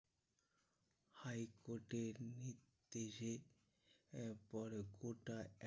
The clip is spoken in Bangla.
High court এর নির্দেশে বড় কোটা